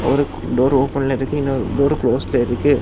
ஒரு டோர் ஓபன்லருக்கு இன்னொரு டோர் க்ளோஸ்ல இருக்கு.